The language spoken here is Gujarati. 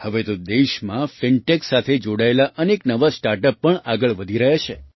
હવે તો દેશમાં FinTechસાથે જોડાયેલાં અનેક નવાં સ્ટાર્ટઅપ પણ આગળ વધી રહ્યાં છે